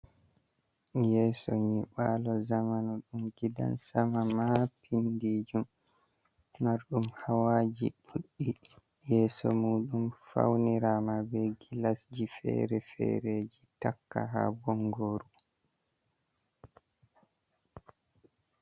Yeso nyibalo zamano dum gidan sama ma pindijum mardum hawaji ɗuddi yeso mudum faunirama be gilasji fere-fereji takka ha bongoru.